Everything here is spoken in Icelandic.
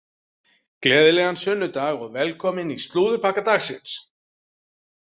Gleðilegan sunnudag og velkomin í slúðurpakka dagsins.